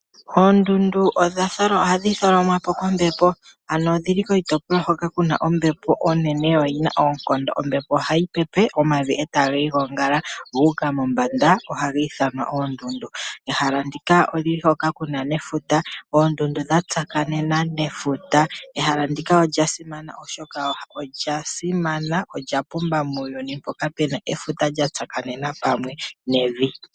Oondundu ohadhi tholomwa po kombepo, ano odhi li koshitopolwa hono ku na ombepo onene yo yi na oonkondo. Ombepo ohayi pepe, omavi e taga igongele gu mombanda, ohaga ithanwa oondundu. Ehala ndika oli li hoka ku na nefuta. Oondundu dha tsakanena nefuta. Ehala ndika olya simana, olya pumba muuyuni mpoka pu na efuta lya tsakanena kumwe nevi.